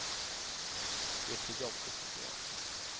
Det är för jobbigt tycker jag.